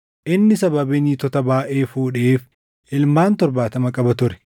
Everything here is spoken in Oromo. Inni sababii niitota baayʼee fuudheef ilmaan torbaatama qaba ture.